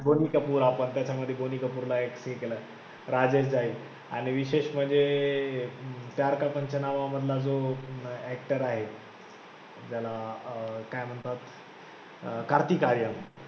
बोनी कपूर आपण त्याच्यामध्ये बोनी कपूरला एक हे केलं, राजेश जैस आणि विशेष म्हणजे प्यार का पंचनामा मधला जो actor आहे ज्याला अं काय म्हणतात अं कार्तिक आर्यन